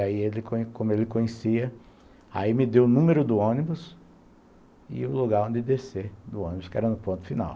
Aí ele, como como ele conhecia, aí me deu o número do ônibus e o lugar onde descer do ônibus, que era no ponto final.